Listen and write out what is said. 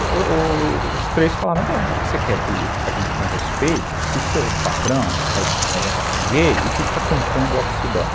E os três falaram, como é que você quer que a gente tenha respeito se seu patrão é gay e fica cantando Office Boy?